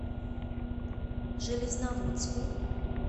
железноводску